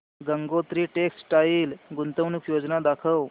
Gangotri textile गुंतवणूक योजना दाखव